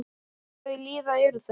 Hvað þau líða eru þau?